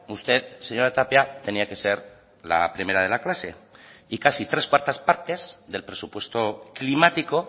usted señora tapia tenía que ser la primera de la clase y casi tres cuartas partes del presupuesto climático